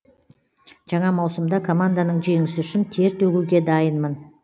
жаңа маусымда команданың жеңісі үшін тер төгуге дайынмын